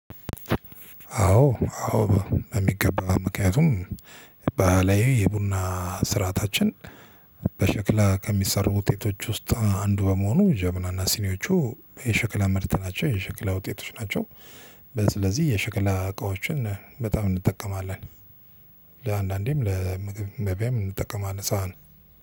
አዎ አዎ በሚገባው ምክንያቱም ባህላዊ የቡና ስርዓታችን በሽክላ ከሚሰሩ ውጤቶች ውስጥ አንዱ በመሆኑ ጀበናና ሲኒዎቹ የሽክላ ምርት ናቸው የሸክላ ውጤቶች ናቸው። ስለዚህ የሸክላ እቃዎችን በጣም እንጠቀማለን። ለአንዳንዴም ለምግብ መብያም እንጠቀማለን ሳህን